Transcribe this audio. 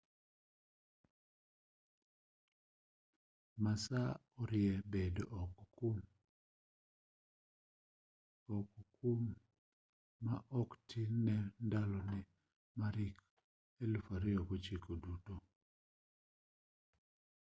massa orie bedo oko kuom ma oktin ne ndaloni mar hik 2009 duto